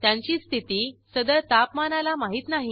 त्यांची स्थिती सदर तापमानाला माहित नाही